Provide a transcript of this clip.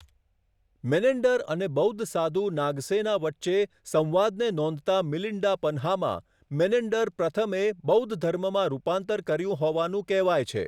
Menander અને બૌદ્ધ સાધુ નાગસેના વચ્ચે સંવાદને નોંધતા મિલિન્ડા પન્હામાં મેનેન્ડર પ્રથમે બૌદ્ધ ધર્મમાં રૂપાંતર કર્યું હોવાનું કહેવાય છે.